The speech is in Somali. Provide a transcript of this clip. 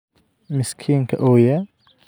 Miskiinka ooya